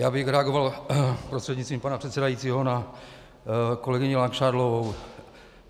Já bych reagoval prostřednictvím pana předsedajícího na kolegyni Langšádlovou.